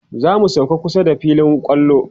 zamu sauka kusa da filin kwallo